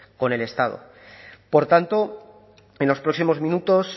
con el estado por tanto en los próximos minutos